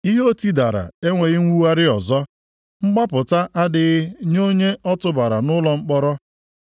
Ihe o tidara enweghị mwugharị ọzọ; mgbapụta adịghị nye onye o tụbara nʼụlọ mkpọrọ.